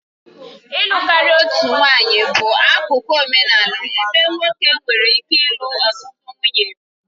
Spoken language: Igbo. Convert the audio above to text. Ịlụ karịa otu nwanyị bụ akụkụ omenala ebe nwoke nwere ike ịlụ ọtụtụ nwunye.